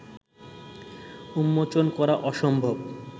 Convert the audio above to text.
উন্মোচন করা অসম্ভব